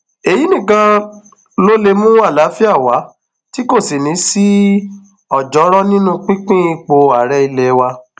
èyí nìkan ló lè mú àlàáfíà wa tí kò sì ní í sí ọjọọrọ nínú pínpín ipò ààrẹ ilé wa